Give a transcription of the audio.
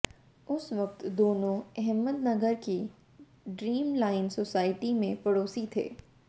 उस वक्त दोनों अहमद नगर की ड्रीमलाइन सोसायटी में पड़ोसी थे